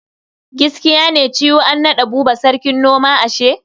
Giskiya ne cew an naɗa Buba sarkin noma ashe?